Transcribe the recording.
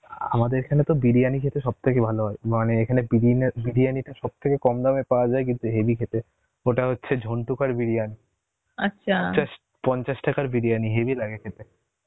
আ আমাদের এখানে তো বিরিয়ানি খেতে সবথেকে ভালো হয়, মানে এখানে বিরিনা~ বিরিয়ানি টা থেকে কম দামে পাওয়া যায় কিন্তু হেভি খেতে, ওটা হচ্ছে ঝন্টু কার বিরিয়ানি চাস~ পঞ্চাশ টাকার বিরিয়ানি হেবি লাগ খেতে